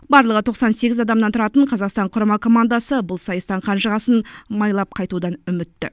барлығы тоқсан сегіз адамнан тұратын қазақстан құрама командасы бұл сайыстан қанжығасын майлап қайтудан үмітті